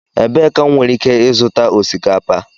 Ebee ka m nwere ike ịzụta osikapa?